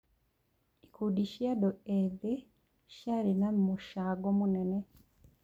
Ikundi cia andũ ethĩ ciarĩ na mũcango mũnene.